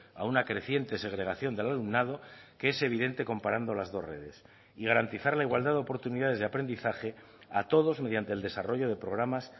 a una creciente segregación del alumnado que es evidente comparando las dos redes y garantizar la igualdad de oportunidades de aprendizaje a todos mediante el desarrollo de programas